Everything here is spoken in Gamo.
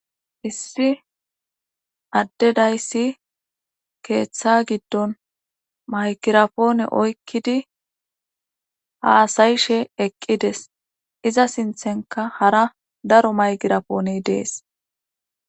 issi addedayssi keeththa giddon maykirapoone oykkidi haasayishe eqqides iza sinthenka hara daro maygirapoone dees